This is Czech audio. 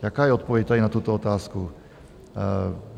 Jaká je odpověď tady na tuto otázku?